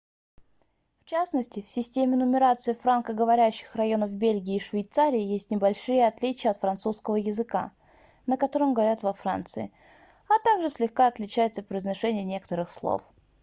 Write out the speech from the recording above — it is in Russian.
в частности в системе нумерации франко-говорящих районов бельгии и швейцарии есть небольшие отличия от французского языка на котором говорят во франции а также слегка отличается произношение некоторых слов